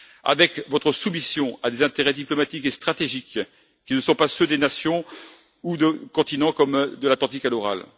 avec votre soumission à des intérêts diplomatiques et stratégiques qui ne sont pas ceux des nations ou de continents, de l'Atlantique à l'Oural.